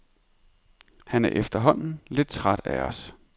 Han er efterhånden lidt træt af os.